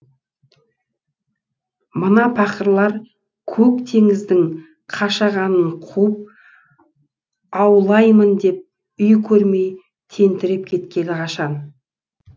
мына пақырлар көк теңіздің қашағанын қуып аулаймын деп үй көрмей тентіреп кеткелі қашан